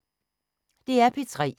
DR P3